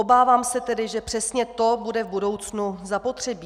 Obávám se tedy, že přesně to bude v budoucnu zapotřebí.